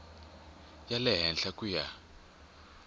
ya le henhla ku ya